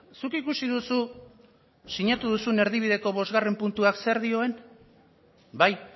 zuk ikusi duzu sinatu duzun erdibideko bosgarren puntuak zer dioen bai